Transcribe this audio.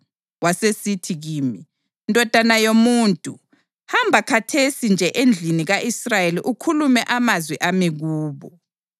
Wasesithi kimi, “Ndodana yomuntu, hamba khathesi nje endlini ka-Israyeli ukhulume amazwi ami kubo.